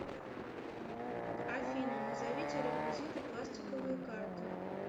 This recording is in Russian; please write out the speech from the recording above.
афина назовите реквизиты пластиковые карты